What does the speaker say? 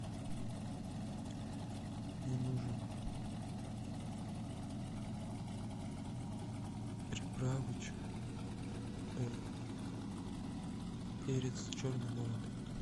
мне нужен приправыч перец черный молотый